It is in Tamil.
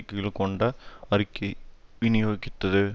கீழ்கொண்ட அறிக்கையை விநியோகித்தது